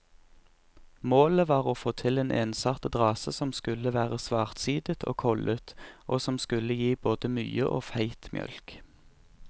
Målet var å få til en ensartet rase som skulle være svartsidet og kollet, og som skulle gi både mye og feit mjølk.